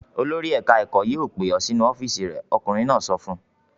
"Olórí ẹ̀ka-ẹ̀kọ́ yóò pè ọ́ sínú ọ́fíísì rẹ̀!" Ọkùnrin náà sọ fún un.